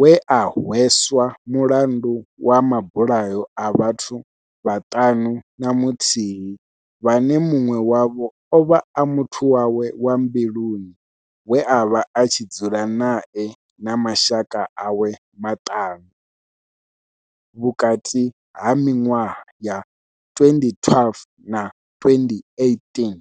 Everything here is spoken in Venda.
we a hweswa mulandu wa mabulayo a vhathu vhaṱanu na muthihi vhane munwe wavho ovha a muthu wawe wa mbiluni we avha a tshi dzula nae na mashaka awe maṱanu - vhukati ha minwaha ya 2012 na 2018.